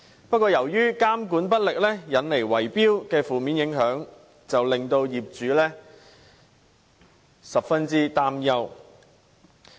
不過，由於監管不力，因而產生圍標的負面影響，令業主十分擔憂。